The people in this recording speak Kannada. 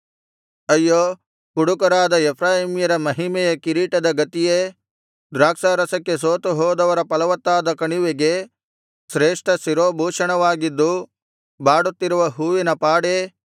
ಅಯ್ಯೋ ಕುಡುಕರಾದ ಎಫ್ರಾಯೀಮ್ಯರ ಮಹಿಮೆಯ ಕಿರೀಟದ ಗತಿಯೇ ದ್ರಾಕ್ಷಾರಸಕ್ಕೆ ಸೋತು ಹೋದವರ ಫಲವತ್ತಾದ ಕಣಿವೆಗೆ ಶ್ರೇಷ್ಠ ಶಿರೋಭೂಷಣವಾಗಿದ್ದು ಬಾಡುತ್ತಿರುವ ಹೂವಿನ ಪಾಡೇ